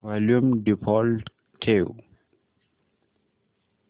volume default ठेव